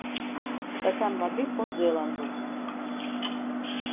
стакан воды по зеланду